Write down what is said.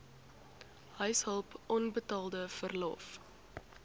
huishulp onbetaalde verlof